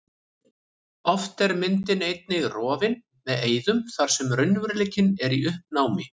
Oft er myndin einnig rofin með eyðum þar sem raunveruleikinn er í uppnámi.